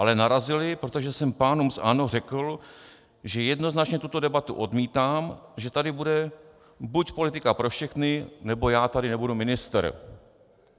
Ale narazili, protože jsem pánům z ANO řekl, že jednoznačně tuto debatu odmítám, že tady bude buď politika pro všechny, nebo já tady nebudu ministr.